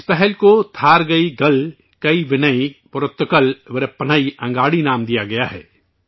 اس پہل کو 'تھارگئیگل کئی ونئی پورتکل ورپنئی انگاڑی 'نام دیا گیا ہے